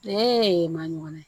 maɲumanye